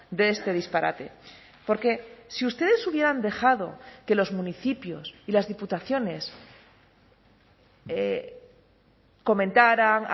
de este disparate porque si ustedes hubieran dejado que los municipios y las diputaciones comentaran